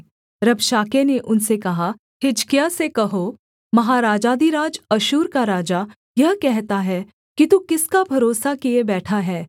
रबशाके ने उनसे कहा हिजकिय्याह से कहो महाराजाधिराज अश्शूर का राजा यह कहता है कि तू किसका भरोसा किए बैठा है